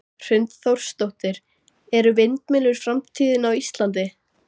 Hrund Þórsdóttir: Eru vindmyllur framtíðin á Íslandi?